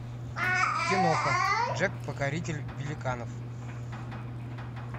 киноха джек покоритель великанов